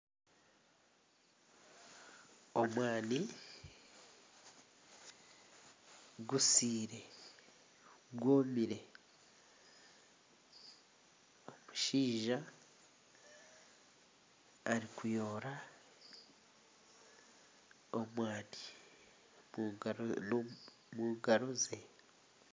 Omwani gusiire gwomire. Omushaija arikuyoora omwani omu ngaro ze